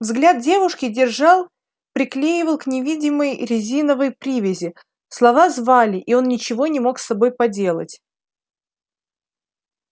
взгляд девушки держал приклеивал к невидимой резиновой привязи слова звали и он ничего не мог с собой поделать